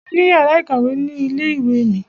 A ní yàrá ìkàwé ni ilé ìwé mi.